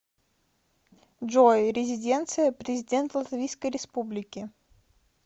джой резиденция президент латвийской республики